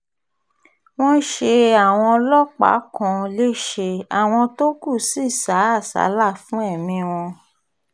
wọ́n ṣe àwọn ọlọ́pàá kan lẹ́sẹ̀ àwọn tó kù sì sá àsálà fún ẹ̀mí wọn